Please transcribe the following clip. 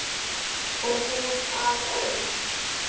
Og hún alein.